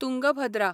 Tungabhadra